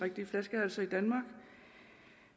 flaskehalse i danmark